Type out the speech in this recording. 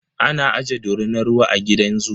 Ana aje dorinar ruwa a gidan zoo.